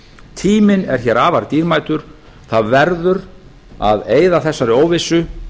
tíminn er afar dýrmætur það verður að eyða þessari óvissu